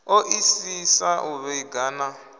o isisa u vhiga na